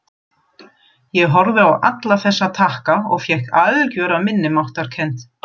Ég horfði á alla þessa takka og fékk algjöra minnimáttarkennd.